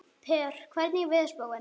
Per, hvernig er veðurspáin?